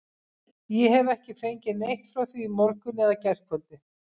Ég hef ekki fengið neitt frá því í morgun eða gærkvöldi.